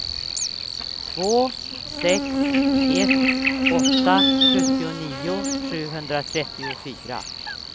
två sex ett åtta sjuttionio sjuhundratrettiofyra